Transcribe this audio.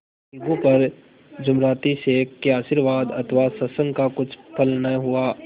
अलगू पर जुमराती शेख के आशीर्वाद अथवा सत्संग का कुछ फल न हुआ